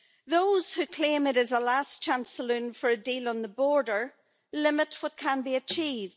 Those who claim it is a last chance saloon for a deal on the border limit what can be achieved.